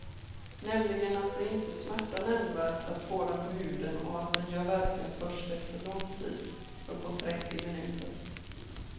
Nämligen att det inte smärtar nämnvärt att få den på huden och att den gör verkan först efter lång tid, uppåt trettio minuter.